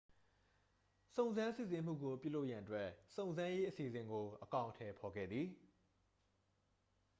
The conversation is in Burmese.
စုံစမ်းစစ်ဆေးမှုကို ပြုလုပ်ရန်အတွက် စုံစမ်းရေးအစီအစဉ်ကို အကောင်အထည်ဖော်ခဲ့သည်